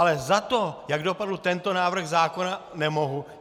Ale za to, jak dopadl tento návrh zákona, nemohu.